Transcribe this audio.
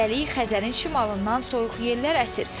Hələlik Xəzərin şimalından soyuq yellər əsir.